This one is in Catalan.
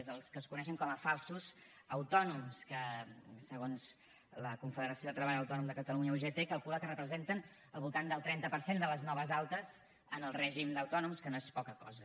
són els que es coneixen com a falsos autònoms que segons la confederació de treballadors autònoms de catalunya ugt es calcula que representen al voltant del trenta per cent de les noves altes en el règim d’autònoms que no és poca cosa